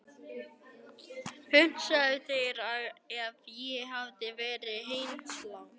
Hugsaðu þér ef ég hefði verið heimilislaus.